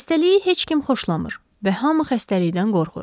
Xəstəliyi heç kim xoşlamır və hamı xəstəlikdən qorxur.